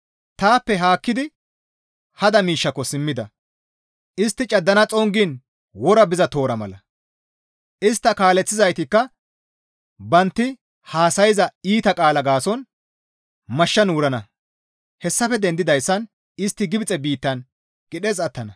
Taappe haakkidi hada miishshako simmida; Istti caddana xongiin wora biza toora mala. Istta kaaleththizaytikka bantti haasayza iita qaala gaason mashshan wurana; hessafe dendoyssan istti Gibxe biittan qidhes attana.